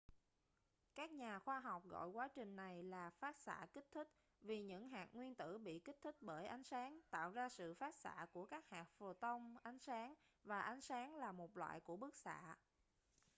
các nhà khoa học gọi quá trình này là phát xạ kích thích vì những hạt nguyên tử bị kích thích bởi ánh sáng tạo ra sự phát xạ của các hạt photon ánh sáng và ánh sáng là một loại của bức xạ